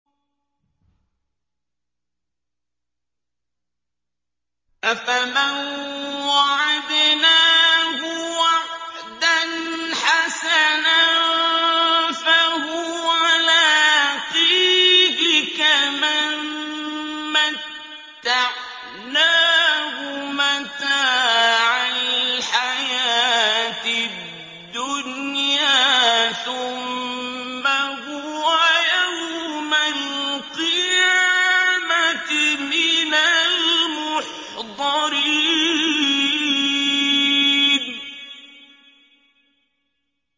أَفَمَن وَعَدْنَاهُ وَعْدًا حَسَنًا فَهُوَ لَاقِيهِ كَمَن مَّتَّعْنَاهُ مَتَاعَ الْحَيَاةِ الدُّنْيَا ثُمَّ هُوَ يَوْمَ الْقِيَامَةِ مِنَ الْمُحْضَرِينَ